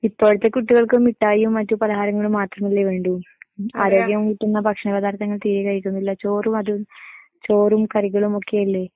ഇപ്പോഴത്തെ കുട്ടികൾക്ക് മിട്ടായും മറ്റ് പലഹാരങ്ങളും മാത്രമല്ലെ വേണ്ടൂ. ആരോഗ്യം കിട്ടുന്ന ഭക്ഷണ പദാർത്ഥങ്ങൾ തീരെ കഴിക്കുന്നില്ല. ചോറും അതും, ചോറും കറികളും ഒക്കെയല്ലേ